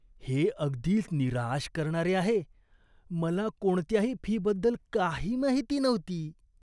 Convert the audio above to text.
हे अगदीच निराश करणारे आहे. मला कोणत्याही फीबद्दल काही माहिती नव्हती.